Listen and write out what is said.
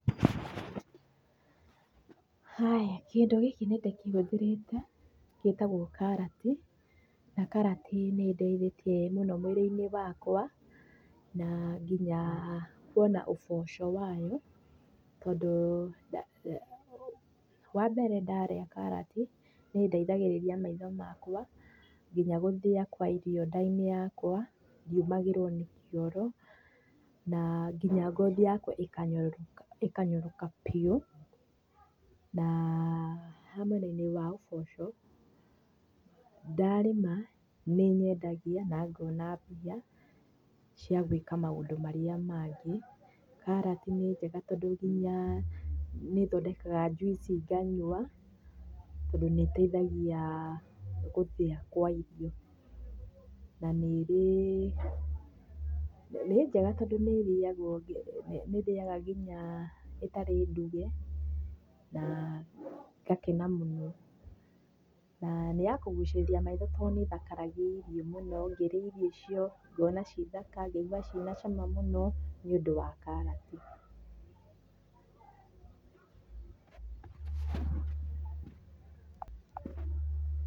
Haya. Kĩndũ gĩkĩ nĩndĩkĩhũthĩrĩte gĩtagwo karati. Na karati nĩĩndeithĩtie mũno mwĩrĩ-inĩ wakwa, naa kinya kuona ũboco wayo, tondũ wambere ndarĩa karati nĩĩndeithagĩrĩria maitho makwa, kinya gũthĩa kwa irio nda-inĩ yakwa, ndiũmagĩrwo nĩ kioro, naa kinya ngothi yakwa ĩkanyoroka ĩkanyoroka biũ. Naa ha mwena-inĩ wa ũboco, ndarĩma nĩnyendagia na ngona mbia cia gwĩka maũndũ marĩa mangĩ. Karati nĩ njega tondũ kinya nĩthondekaga njuici nganyua, tondũ nĩĩteithagia gũthĩa kwa irio. Na nĩ ĩrĩ, nĩ njega tondũ nĩrĩagwo nĩndĩaga kinya ĩtarĩ nduge na ngakena mũno. Na nĩyakũgũcirĩria maitho tondũ nĩthakaragia irio mũno. Ngĩrĩa irio icio, ngona ci thaka ngaigua ciĩna cama mũno nĩũndũ wa karati. Pause